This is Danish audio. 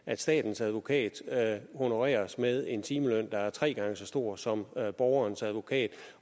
at statens advokat honoreres med en timeløn der er tre gange så stor som borgerens advokats